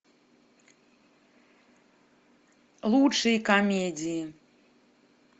лучшие комедии